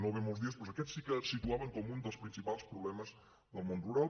no ve molts dies aquest sí que el situaven com un dels principals problemes del món rural